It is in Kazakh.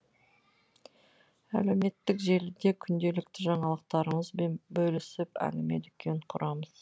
әлеуметтік желіде күнделікті жаңалықтарымызбен бөлісіп әңгіме дүкен құрамыз